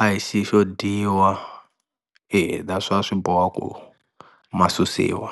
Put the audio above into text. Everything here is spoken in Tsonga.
a hi xilo xo dyiwa swa swi boho ma susiwa.